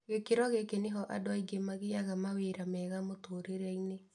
Gĩkĩro gĩkĩ nĩho andũ aingĩ magĩaga mawĩra mega mũtũrĩreinĩ.